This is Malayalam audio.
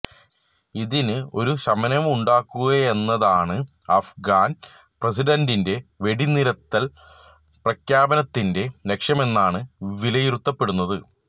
ഇതിന് ഒരു ശമനമുണ്ടാക്കുകയെന്നതാണ് അഫ്ഗാന് പ്രസിഡന്റിന്റെ വെടിനിര്ത്തല് പ്രഖ്യാപനത്തിന്റെ ലക്ഷ്യമെന്നാണ് വിലയിരുത്തപ്പെടുന്നത്